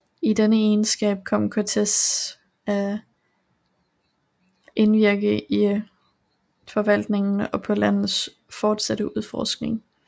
I denne egenskab kom Cortés at indvirke i forvaltningen og på landets fortsatte udforskning